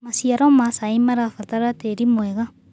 Macĩaro ma caĩ marabatara tĩĩrĩ mwega